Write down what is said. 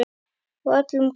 Hún var öllum góð.